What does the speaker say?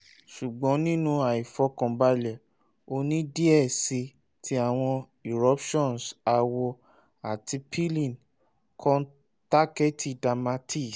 ṣugbọn ninu aifọkanbalẹ o ni diẹ sii ti awọn eruptions awọ ati peeling kọntaktẹti dermati